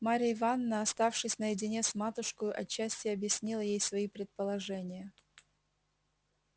марья ивановна оставшись наедине с матушкою отчасти объяснила ей свои предположения